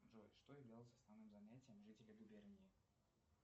джой что являлось основным занятием жителей губернии